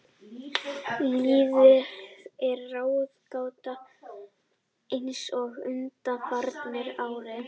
Liðið er ráðgáta eins og undanfarin ár.